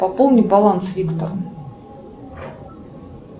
пополни баланс виктор